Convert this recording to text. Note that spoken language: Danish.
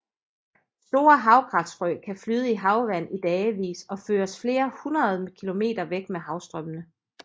Store havgræsfrø kan flyde i havvand i dagevis og føres flere hundrede kilometer væk med havstrømmene